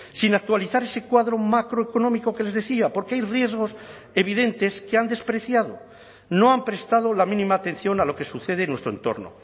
sin actualizar ese cuadro macroeconómico que les decía porque hay riesgos evidentes que han despreciado no han prestado la mínima atención a lo que sucede en nuestro entorno